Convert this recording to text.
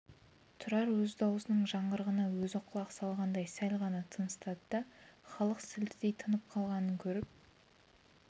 тұрар өз дауысының жаңғырығына өзі құлақ салғандай сәл ғана тыныстады да халық сілтідей тынып қалғанын көріп